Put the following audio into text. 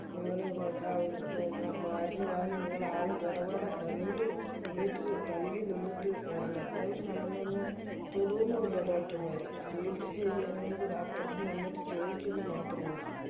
നിങ്ങള് എന്ന മരുന്ന് വാങ്ങി നിങ്ങള് ആള് ഇടവേള രണ്ട് meter തള്ളി നിന്നിട്ട് വരണം അവര് നമ്മളെയൊന്നും തൊടു ഒന്നുല്ല doctor മാര് ചികിത്സ ചെയ്യാണെങ്കിലൊക്കെ ദാ അപ്പർത്ത് നിന്നിട്ട് ചോയ്ക്കുന്ന് മാത്രോള്ളു